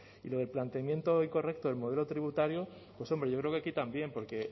y lo del planteamiento incorrecto el modelo tributario hombre yo creo que aquí también porque